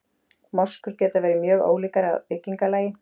Moskur geta verið mjög ólíkar að byggingarlagi.